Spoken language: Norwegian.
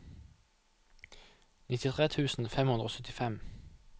nittitre tusen fem hundre og syttifem